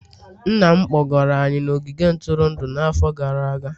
Nna m kpọgara anyị n'ogige ntụrụndụ n'afọ gara aga